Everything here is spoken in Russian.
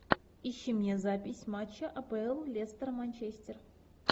ищи мне запись матча апл лестер манчестер